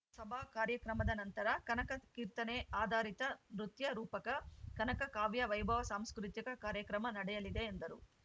ಸಭಾ ಕಾರ್ಯಕ್ರಮದ ನಂತರ ಕನಕ ಕೀರ್ತನೆ ಆಧಾರಿತ ನೃತ್ಯರೂಪಕ ಕನಕ ಕಾವ್ಯ ವೈಭವ ಸಾಂಸ್ಕೃತಿಕ ಕಾರ್ಯಕ್ರಮ ನಡೆಯಲಿದೆ ಎಂದರು